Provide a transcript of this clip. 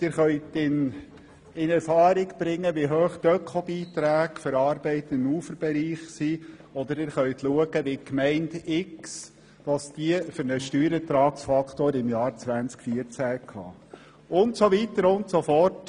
Sie können in Erfahrung bringen, wie hoch die Öko-Beiträge für Arbeiten im Uferbereich sind, oder sie können nachsehen, welchen Steuerertragsfaktor die Gemeinde x im Jahr 2014 hatte und so weiter und so fort;